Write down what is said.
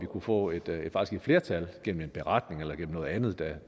kunne få et flertal gennem en beretning eller gennem noget andet det